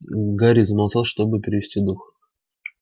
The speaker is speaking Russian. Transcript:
гарри замолчал чтобы перевести дух